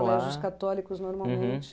Colégios católicos, normalmente.